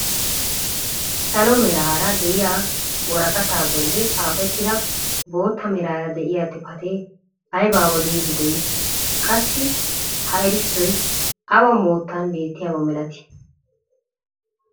Salo meraara de'iyaa woraqataa bolli xaafettida bootta meraara de'iyaa xifatee aybaa odiidi de'ii? qassi ha erissoy awa moottan bettiyaaba milatii?